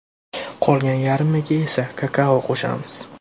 Qolgan yarmiga esa kakao qo‘shamiz.